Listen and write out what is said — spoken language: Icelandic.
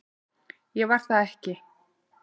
Ég var það ekki